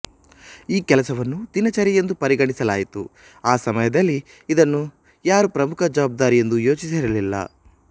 ಈ ಕೆಲಸವನ್ನು ದಿನಚರಿಯೆಂದು ಪರಿಗಣಿಸಲಾಯಿತು ಆ ಸಮಯದಲಿ ಇದನ್ನು ಯಾರು ಪ್ರಮುಖ ಜವಾಬ್ದಾರಿಯೆಂದು ಯೋಚಿಸಿರಲಿಲ್ಲ